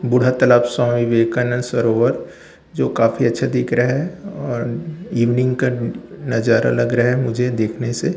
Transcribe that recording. बूढ़ा तालाब स्वामी विवेकानंद सरोवर जो काफी अच्छा दिख रहा है और इवनिंग का नजारा लग रहा है मुझे देखने से--